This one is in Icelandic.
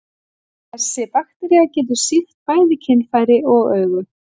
Þessi baktería getur sýkt bæði kynfæri og augu.